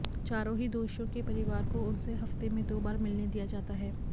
चारों ही दोषियों के परिवार को उनसे हफ्ते में दो बार मिलने दिया जाता है